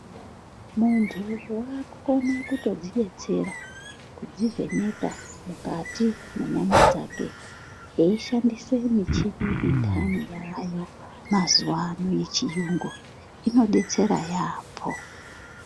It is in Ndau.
Muntu waakukona kutodzidetsera kudzivheneka mukati mwenyama dzake eishandise michini indani yaayo mazuvano yechiyungu. Inodetsera yaambo.